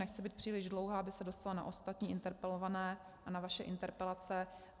Nechci být příliš dlouhá, aby se dostalo na ostatní interpelované a na vaše interpelace.